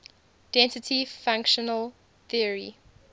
density functional theory